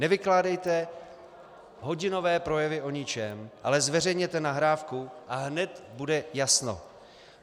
Nevykládejte hodinové projevy o ničem, ale zveřejněte nahrávku, a hned bude jasno.